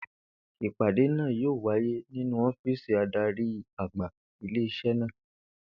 Ìpàdé náà yóò wáyé nínú ó̩fíìsì adarí-àgbà ilé is̩é̩ náà